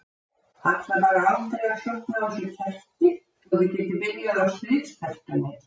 Það ætlar bara aldrei að slokkna á þessu kerti svo þið getið byrjað á stríðstertunni.